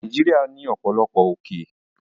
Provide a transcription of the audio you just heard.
Nàìjíríà ní ọ̀pọ̀lọpọ̀ òkè